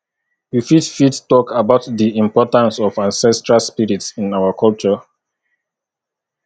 you fit fit talk about di importance of ancestral spirits in our culture